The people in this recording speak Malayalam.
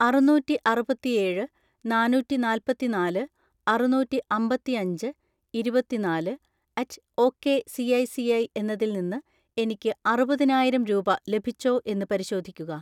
അറുന്നൂറ്റിഅറുപത്തിഏഴ് നാന്നൂറ്റിനാല്പത്തിനാല് അറുനൂറ്റിഅമ്പത്തിഅഞ്ച് ഇരുപത്തിനാല് അറ്റ് ഒക്കെ സിഐസിഐ എന്നതിൽ നിന്ന് എനിക്ക് അറുപതിനായിരം രൂപ ലഭിച്ചോ എന്ന് പരിശോധിക്കുക.